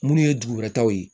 Munnu ye dugu wɛrɛ taw ye